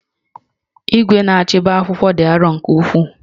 Igwe na-achabi akwụkwọ dị arọ nke ukwuu